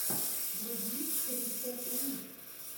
вруби кристен уик